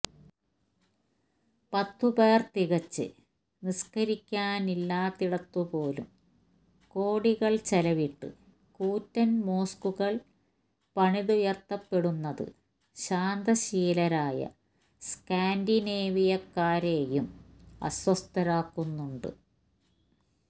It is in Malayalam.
പത്തുപേർ തികച്ച് നിസ്ക്കരിക്കാനില്ലാത്തിടത്തുപോലും കോടികൾ ചെലവിട്ട് കൂറ്റൻ മോസ്ക്കുകൾ പണിതുയർത്തപ്പെടുന്നത് ശാന്തശീലരായ സ്ക്കാൻഡിനേവിയക്കാരെയും അസ്വസ്ഥരാക്കുന്നുണ്ട്